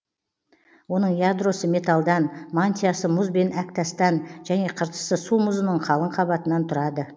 оның ядросы металдан мантиясы мұз бен әктастан және қыртысты су мұзының қалың қабатынан тұрады